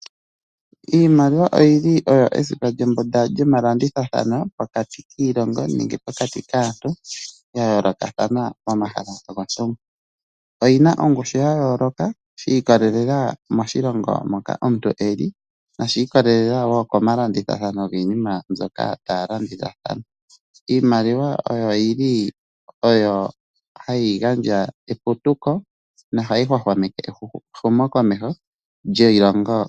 Iimaliwa oyo esipa lyombunda lyomalandithathano pokati kiilongo nenge pokati kaantu ya yoolokathana pomahala gontumba. Oyi na ongushu ya yooloka shi ikolelela moshilongo moka omuntu e li noshi ikolele wo komalanditho ngoka taya landithathana. Iimaliwa ohayi gandja eputuko nohayi hwahwameke eputuko lyiilongo.